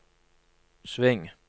sving